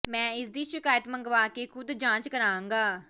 ਮੈਂ ਇਸ ਦੀ ਸ਼ਿਕਾਇਤ ਮੰਗਵਾ ਕੇ ਖ਼ੁਦ ਜਾਂਚ ਕਰਾਂਗਾ